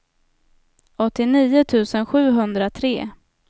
åttionio tusen sjuhundratre